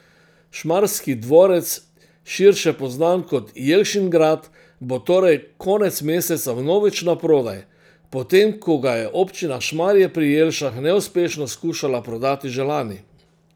Šmarski dvorec, širše poznan kot Jelšingrad, bo torej konec meseca vnovič naprodaj, po tem ko ga je občina Šmarje pri Jelšah neuspešno skušala prodati že lani.